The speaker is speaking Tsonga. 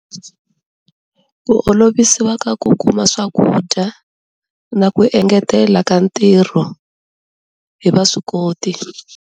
Ku olovisiwa ka ku kuma swakudya na ku engetela ka ntirho hi vaswikoti.